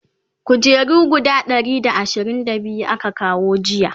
kujeru guda Ɗari da ashirin da biyu aka kawo jiya